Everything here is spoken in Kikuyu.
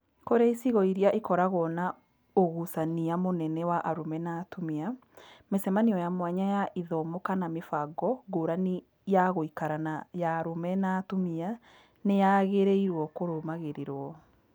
Kũrĩ icigo iria ikoragwo na ũgucania mũnene wa arũme na atumia, mĩcemanio ya mwanya ya ithomo kana mĩbango ngũrani ya gũikara ya arũme na atumia nĩ yagĩrĩirũo kũrũmagĩrĩrũo.